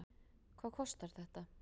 Hvað kostar þetta?